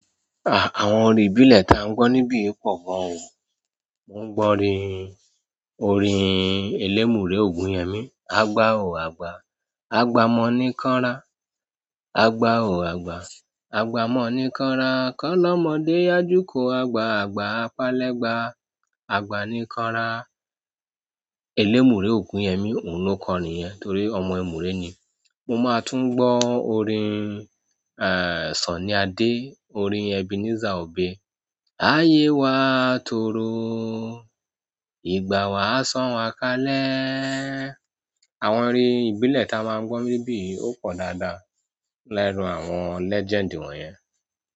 À, àwọn orin ìbílẹ̀ taà ń gbọ́ níbí pọ gan o. Mo ń gbọ́ orin, orin Elémùrè Ògúnyemi. Agba ò àgbà, àgbà mọ́ ni kan ra. Agba ò àgbà, àgbà mọ́ ni kan ra. Kan lọ́mọdé yájú ko agba, àgbà á palẹ́ gba, àgbà ni kan ra. Elémùrè Ògúnyemi òun ló kọ orin yẹn torí ọmọ ẹmùrè ni. Mo máa tún gbọ́ orin, aà, Sunny Adé, orin Ebenezer Obey. Ayé wa toroo, ìgbà wà san wà kalẹ̀. Àwọn orin ìbílẹ̀ ta a máa ń gbọ́ níbí ó pọ̀ dáadáa lẹ́nú àwọn legend wọ̀nyẹn.